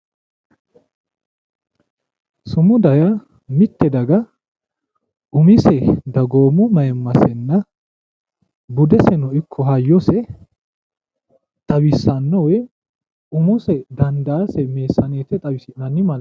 Sumuda yaa mitte daga umise dagoomu mayiimmasenna budeseno ikko hayyose xawissanno woy umose dandaa meessaneete xawisanno malaateeti.